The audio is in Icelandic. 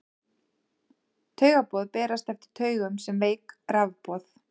taugaboð berast eftir taugum sem veik rafboð